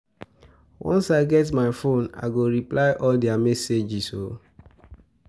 Once I get my fone, I go reply to all their messages.